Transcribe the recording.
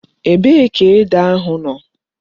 Ebee ka ede ahu no?